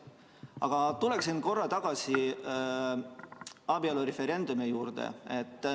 Aga tuleksin korra tagasi abielureferendumi juurde.